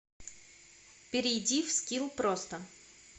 перейди в скилл просто